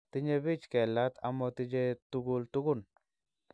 Tinye bich kelat amotiche tugul tugun